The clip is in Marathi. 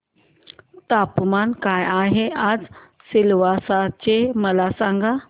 तापमान काय आहे आज सिलवासा चे मला सांगा